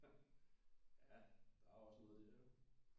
Ja der er også noget der jo